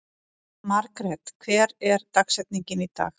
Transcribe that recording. Margret, hver er dagsetningin í dag?